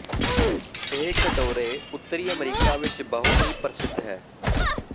ਇਹ ਕਟੋਰੇ ਉੱਤਰੀ ਅਮਰੀਕਾ ਵਿੱਚ ਬਹੁਤ ਹੀ ਪ੍ਰਸਿੱਧ ਹੈ